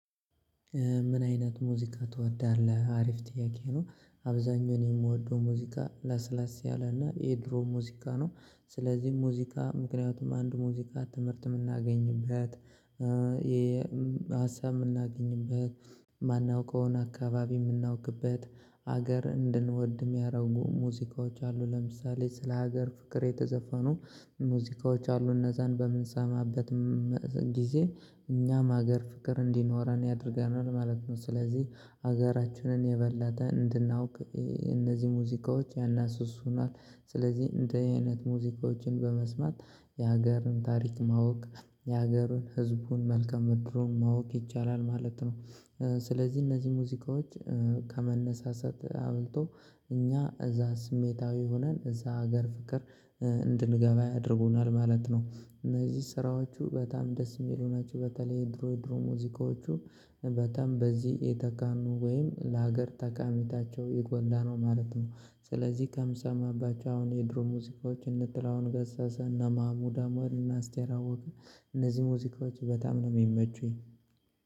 ምን አይነት ሙዚቃ ትወዳለህ? አሪፍ ጥያቄ ነው አብዛኛውን የምወደው ሙዚቃ ለስለስ ያለና የድሮ ሙዚቃ ነው ስለዚህ ሙዚቃ ምክንያቱም አንድ ሙዚቃ ትምህርት የምናገኝበት። የሀሳብ የምናገኝበት። ማናውቀውን አካባቢ የምናውቅበት ሀገር እንድንወድ የሚያደርጉ ሙዚቃዎች አሉ። ለምሳሌ ስለ ሀገር ፍቅር የተዘፈኑ ሙዚቃዎች አሉ። እነዛን በምንሰማበትም ጊዜ እኛም ሀገር ፍቅር እንዲኖረን ያደርገናል ማለት ነው። ስለዚህ ሀገራችንን የበለጠ እንድናውቅ እነዚህ ሙዚቃዎች ያነሰሱናል። ስለዚህ እንደዚ አይነት ሙዚቃዎችን በመስማት የሀገርን ታሪክ ማወቅ የሀገርን ህዝቡን መልከ ምድሩን ማወቅ ይቻላል ማለት ነው። ስለዚህ እነዚህ ሙዚቃዎች ከመነሳሳት አብልቶ እኛ እዛ ስሜታዊ ሆነን እዛ ሀገር ፍቅር። እንድንገባ ያደርጉናል ማለት ነው። እነዚህ ስራዎቹ በጣም ደስ የሚሉ ናቸው። በተለይ ድሮ ድሮ ሙዚቃዎቹ በጣም በዚህ የተካኑ ወይም ለሀገር ጠቃሚነታቸው የጎላ ነው ማለት ነው። ስለዚህ ከምሰማባቸው አሁን የድሮ ሙዚቃዎች እነ ጥላሁን ገሰሰ እነ ማሙድ አህመድ እነ አስቴር አወቀ እነዚህ ሙዚቃዎች በጣም ነው የሚመቹኝ